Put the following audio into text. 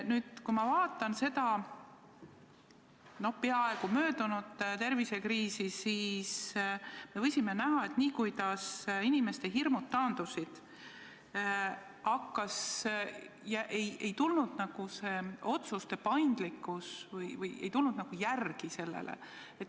Nüüd, kui ma vaatan seda peaaegu möödunud tervisekriisi, siis võisime näha, et inimeste hirmud taandusid, aga otsuste paindlikkus ei tulnud sellele järele.